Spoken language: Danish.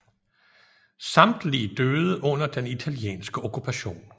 Samtlige døde under den italienske okkupation